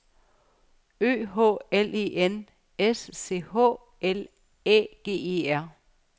Ø H L E N S C H L Æ G E R